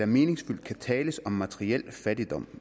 meningsfyldt kan tales om materiel fattigdom